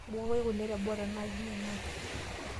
Mbukoi kule teboo tenaa keinyalate.